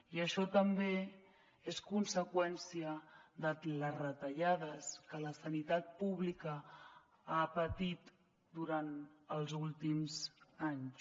i això també és conseqüència de les retallades que la sanitat pública ha patit durant els últims anys